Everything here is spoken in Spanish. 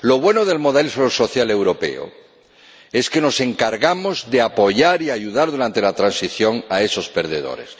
Lo bueno del modelo social europeo es que nos encargamos de apoyar y ayudar durante la transición a esos perdedores.